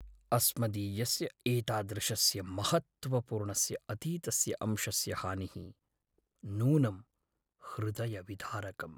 अस्मदीयस्य एतादृशस्य महत्त्वपूर्णस्य अतीतस्य अंशस्य हानिः नूनं हृदयविदारकम्।